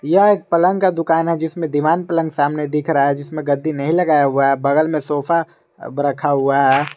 यह एक पलंग का दुकान है जिसमें दिवान पलंग सामने दिख रहा है जिसमें गद्दी नहीं लगाया हुआ है बगल में सोफा रखा हुआ है।